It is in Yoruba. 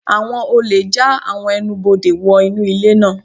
Àwọn olè já àwọn ẹnubodè wò Inu ilé náà.